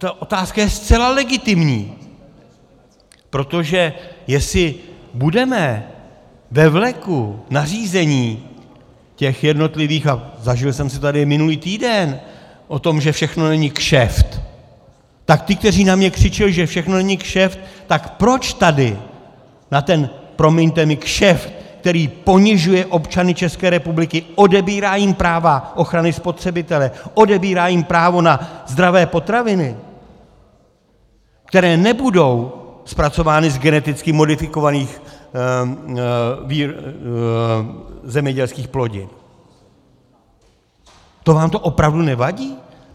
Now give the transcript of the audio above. Ta otázka je zcela legitimní, protože jestli budeme ve vleku nařízení, těch jednotlivých, a zažil jsem to tady minulý týden, o tom, že všechno není kšeft, tak ti, kteří na mě křičeli, že všechno není kšeft, tak proč tady na ten, promiňte mi, kšeft, který ponižuje občany České republiky, odebírá jim práva ochrany spotřebitele, odebírá jim právo na zdravé potraviny, které nebudou zpracovány z geneticky modifikovaných zemědělských plodin, to vám to opravdu nevadí?